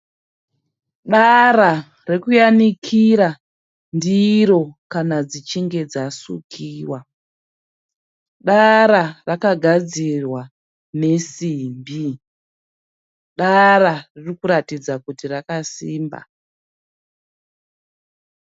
Dara rekuyanikira ndiro kana dzichinge dzasukiwa. Dara rakagadzirwa nesimbi. Dara riri kuratidza kuti rakasimba.